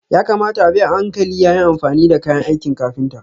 Ya kamata a bi a hankali yayin amfani da kayan aikin kafinta.